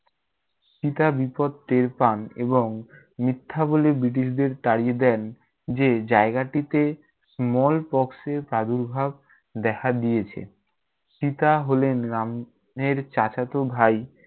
সীতা বিপদ টের পান এবং মিথ্যা বলে ব্রিটিশদের তাড়িয়ে দেন যে জায়গাটিতে small pox এর প্রাদূর্ভাব দেখা দিয়েছে। সীতা হলেন রাম এর চাচাত ভাই।